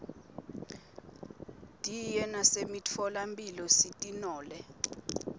diye nasemitfola mphilo sitinole